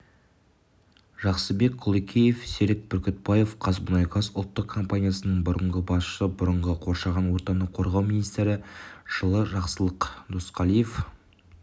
жақсыбек құлекеев серік бүркітбаев қазмұнайгаз ұлттық компаниясының бұрынғы басшысы бұрынғы қоршаған ортаны қорғау министрі жақсылық досқалиев